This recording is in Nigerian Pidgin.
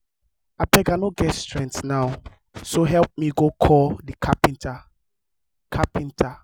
abeg i no get strength now so help me go call the carpenter carpenter